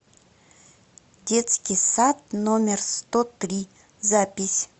детский сад номер сто три запись